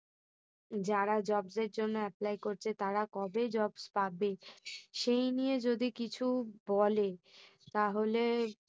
যারা jobs এর apply করছে তারা কবে job পাবে? সেই নিয়ে যদি কিছু বলে তাহলে